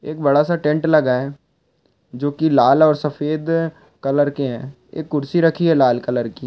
एक बड़ा सा टेंट लगा है जो की लाल और सफ़ेद कलर के है एक कुर्सी रखी है लाल कलर की।